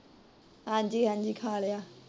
ਹਾਂਜੀ ਹਾਂਜੀ ਖਾ ਲਿਆ।